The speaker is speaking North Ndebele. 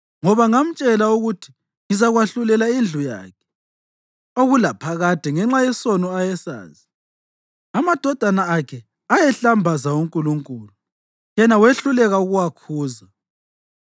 Ngoba ngamtshela ukuthi ngizakwahlulela indlu yakhe okulaphakade ngenxa yesono ayesazi; amadodana akhe ayehlambaza uNkulunkulu, yena wehluleka ukuwakhuza.